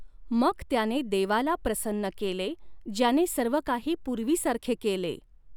मग त्याने देवाला प्रसन्न केले, ज्याने सर्व काही पूर्वीसारखे केले.